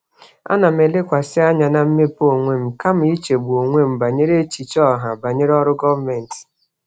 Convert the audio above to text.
Ana m elekwasị anya na mmepe onwe m kama ichegbu onwe m banyere echiche ọha banyere ọrụ gọọmentị.